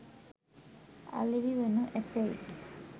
අලෙවි වනු ඇතැයි